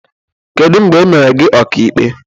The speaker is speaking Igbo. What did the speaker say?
Kedụ mgbe emere gị ọka ikpe?